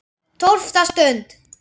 TÓLFTA STUND